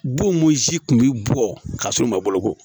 Bon mun si kun bi bɔ ka sɔrɔ u ma boloko